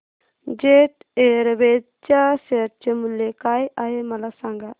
jet Airways च्या share चे मूल्य काय आहे मला सांगा